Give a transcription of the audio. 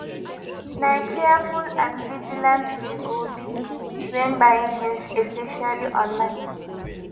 na careful and vigilant we go be when buying tings especially online